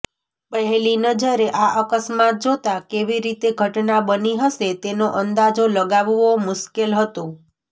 પહેલી નજરે આ અકસ્માત જોતા કેવી રીતે ઘટના બની હશે તેનો અંદાજો લગાવવો મુશ્કેલ હતો